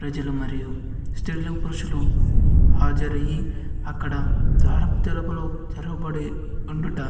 ప్రజలు మరియు స్త్రీలు పురుషులు హాజరయి అక్కడ ద్వారపా తెలుపులు తెరవబడి ఉండుట --